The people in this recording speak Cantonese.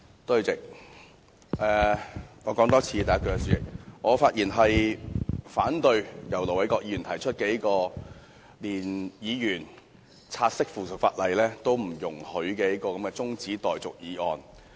主席，我再重複一次，我發言反對由盧偉國議員動議、連議員察悉附屬法例也不容許的中止待續議案。